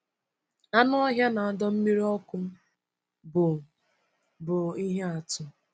Anụ ọhịa na ọdọ mmiri ọkụ bụ bụ ihe atụ.